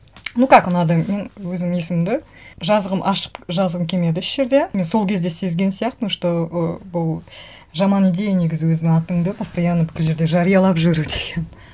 ну как ұнады мен өзім есімімді жазғым ашық жазғым келмеді еш жерде мен сол кезде сезген сияқтымын что і бұл жаман идея негізі өзіңнің атыңды постоянно бүкіл жерде жариялап жүру деген